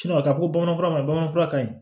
ka taa fɔ bamananfura ma bamanan fura ka ɲi